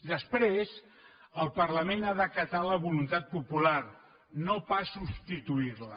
després el parlament ha d’acatar la voluntat popular no pas substituir la